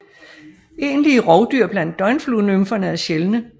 Egentlige rovdyr blandt døgnfluenymferne er sjældne